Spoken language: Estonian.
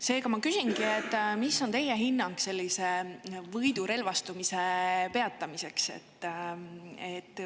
Seega ma küsingi: mida on teie hinnangul sellise võidurelvastumise peatamiseks?